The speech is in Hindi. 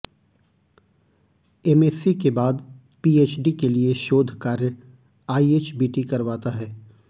एमएससी के बाद पीएचडी के लिए शोध कार्य आईएचबीटी करवाता है